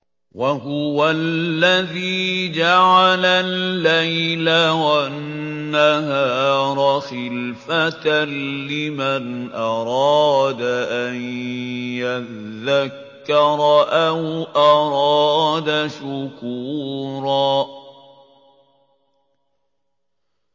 وَهُوَ الَّذِي جَعَلَ اللَّيْلَ وَالنَّهَارَ خِلْفَةً لِّمَنْ أَرَادَ أَن يَذَّكَّرَ أَوْ أَرَادَ شُكُورًا